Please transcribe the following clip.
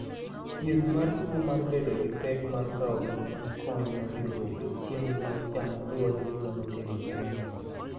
Thieth mar tuo mar bedo gi pek mar kawo gik ma konyo ringruok e chiemo ma ichamo luwore gi gima nokelo tuono.